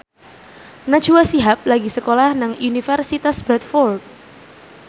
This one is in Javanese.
Najwa Shihab lagi sekolah nang Universitas Bradford